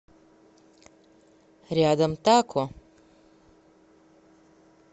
рядом тако